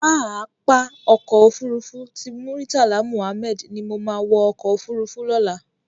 Pàápá Òkò Ófúrúfú ti Múritálá Múhámèd ni mó má wò òkò ófúrúfú lòlá